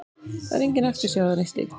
Það er engin eftirsjá eða neitt slíkt.